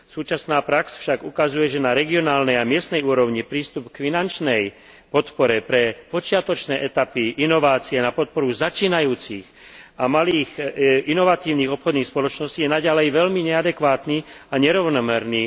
Súčasná prax však ukazuje, že na regionálnej a miestnej úrovni je prístup k finančnej podpore pre počiatočné etapy inovácie a na podporu začínajúcich a malých inovačných obchodných spoločností v EÚ naďalej veľmi neadekvátny a nerovnomerný.